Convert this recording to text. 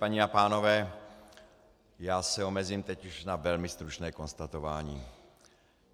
Paní a pánové, já se omezím teď už na velmi stručné konstatování.